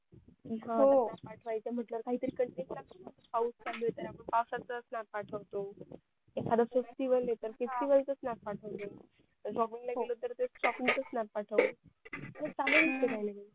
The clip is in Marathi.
हो काही पाठवायचं म्हटल्यावर काही content लागणारच. पाऊस चालू आहे तर आपण पावसात चा snap पाठवतो एखादा festival आहे तर festival चा snap पाठवतो shopping ला गेलो तर shopping चा snap पाठवतो हे चालू असते काही ना काही